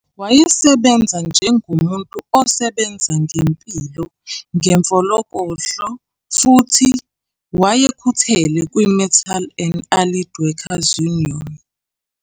Wayesebenza njengomuntu osebenza ngempilo ngemfoloko futhi wayekhuthele kwi-Metal and Allied Worker's Union.